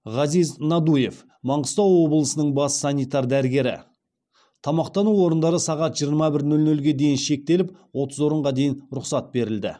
ғазиз надуев маңғыстау облысының бас санитар дәрігері тамақтану орындары сағат жиырма бір нөл нөлге дейін шектеліп отыз орынға дейін рұқсат берілді